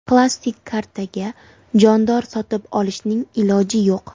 Plastik kartaga jondor sotib olishning iloji yo‘q.